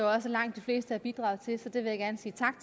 også at langt de fleste har bidraget til så det vil jeg gerne sige tak